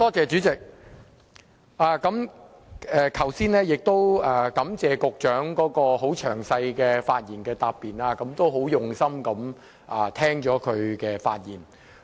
主席，感謝局長剛才很詳細的發言答辯，我很用心聆聽她的發言。